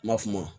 N ma f'o ma